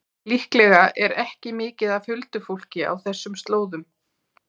Líklega er ekki mikið af huldufólki á þessum slóðum.